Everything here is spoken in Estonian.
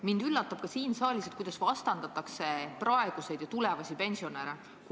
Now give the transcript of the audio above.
Mind üllatab ka siin saalis, et kuidas vastandatakse praegusi ja tulevasi pensionäre.